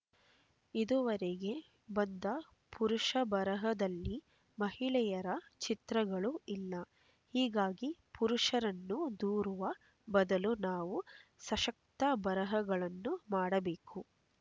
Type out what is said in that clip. ಇದುವರೆಗೆ ಬಂದ ಪುರುಷ ಬರಹದಲ್ಲಿ ಮಹಿಳೆಯರ ಚಿತ್ರಗಳು ಇಲ್ಲ ಹೀಗಾಗಿ ಪುರುಷರನ್ನು ದೂರುವ ಬದಲು ನಾವು ಸಶಕ್ತ ಬರಹಗಳನ್ನು ಮಾಡಬೇಕು